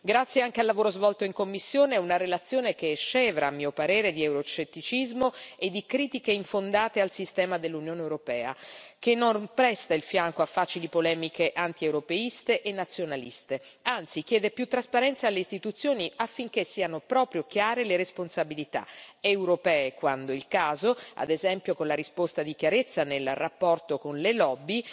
Grazie anche al lavoro svolto in commissione, è una relazione che è scevra, a mio parere, di euroscetticismo e di critiche infondate al sistema dell'Unione europea, che non presta il fianco a facili polemiche antieuropeiste e nazionaliste, anzi chiede più trasparenza alle istituzioni affinché siano proprio chiare le responsabilità europee, quando è il caso, ad esempio con la risposta di chiarezza nel rapporto con le lobby,